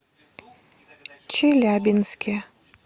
челябинске